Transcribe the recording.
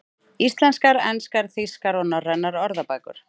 Íslenskar, enskar, þýskar og norrænar orðabækur.